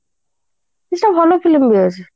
କିଛି ନାଇଁ ଭଲ film ଦେଖଉଛି